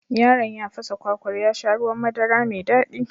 Yaron ya fasa kwakwar ya sha ruwan madara mai daɗi